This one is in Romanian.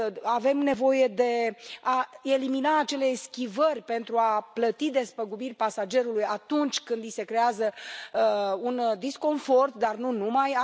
Avem nevoie de a elimina acele eschivări pentru a plăti despăgubiri pasagerului, atunci când i se creează un disconfort, dar nu numai.